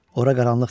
Ora qaranlıq deyil.